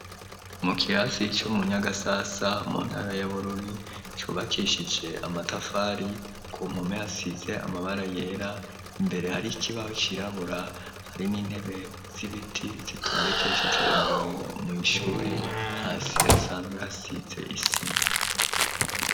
Mu kirasi co mu nyagasasa mu ntara ya Bururi cubakeshije amatafari ku mpome hasize amabara yera imbere hari ikibaho cirabura hari n'intebe z'ibiti zitondekeshije umurongo mw'ishuri hasi hasanzwe hasize isima.